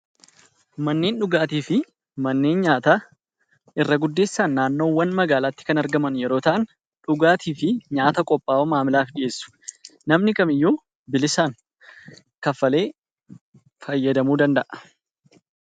Manneen dhugaatii fi manneen nyaataa irra jireessaan naannoo magaalaatii kan argaman yemmuu ta'an, dhugaatii fi nyaata qophaa'u maamilaaf dhiheessu. Namni kamiyyuu bilisaan kanfalee fayyadamuu danda'a.